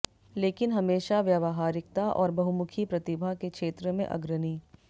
लेकिन हमेशा व्यावहारिकता और बहुमुखी प्रतिभा के क्षेत्र में अग्रणी